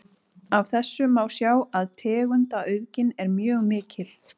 Af þessu má sjá að tegundaauðgin er mjög mikil.